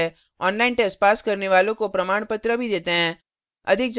online test pass करने वालों को प्रमाणपत्र भी देते हैं